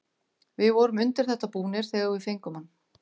Við vorum undir þetta búnir þegar við fengum hann.